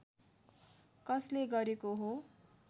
कसले गरेको हो